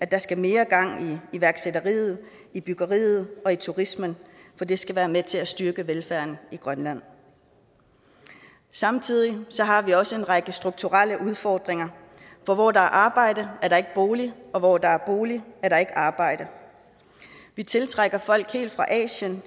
der skal mere gang i iværksætteriet i byggeriet og i turismen for det skal være med til at styrke velfærden i grønland samtidig har vi også en række strukturelle udfordringer for hvor der er arbejde er der ikke bolig og hvor der er bolig er der ikke arbejde vi tiltrækker folk helt fra asien